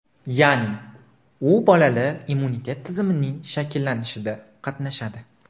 Ya’ni, u bolada immunitet tizimining shakllanishida qatnashadi.